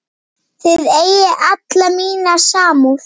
Þið eigið alla mína samúð.